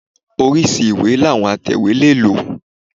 Oríṣi ìwé làwọn atẹ̀wé lè lò.